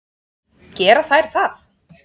Gera þær það?